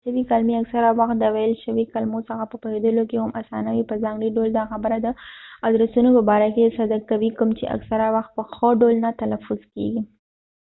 لیکلی شوي کلمی اکثره وخت د ويل شوي کلمو څخه په پوهیدلو کې هم اسانه وي په ځانګړی ډول دا خبره د ادرسونو په باره کې صدق کوي کوم چې اکثره وخت په ښه ډول نه تلفظ کېږی